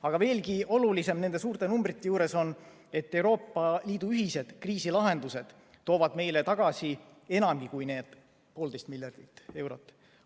Aga veelgi olulisem nende suurte numbrite juures on, et Euroopa Liidu ühised kriisilahendused toovad meile tagasi enamgi kui need poolteist miljardit eurot.